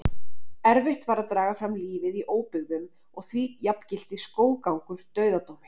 Erfitt var að draga fram lífið í óbyggðum og því jafngilti skóggangur dauðadómi.